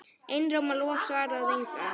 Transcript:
Einróma lof svarar Ingvar.